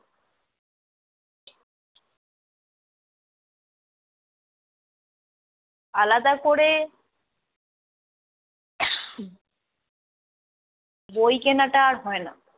আলাদা করে বই কেনাটা আর হয় না।